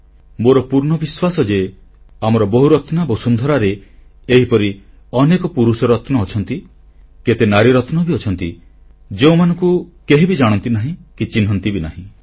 ମୋର ପୂର୍ଣ୍ଣ ବିଶ୍ୱାସ ଯେ ଆମର ବହୁରତ୍ନା ବସୁନ୍ଧରାରେ ଏହିପରି ଅନେକ ପୁରୁଷରତ୍ନ ଅଛନ୍ତି କେତେ ନାରୀ ରତ୍ନ ବି ଅଛନ୍ତି ଯେଉଁମାନଙ୍କୁ କେହିବି ଜାଣନ୍ତି ନାହିଁ କି ଚିହ୍ନନ୍ତି ବି ନାହିଁ